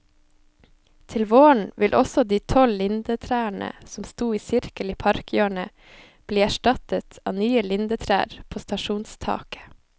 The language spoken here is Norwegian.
Til våren vil også de tolv lindetrærne som sto i sirkel i parkhjørnet, bli erstattet av nye lindetrær på stasjonstaket.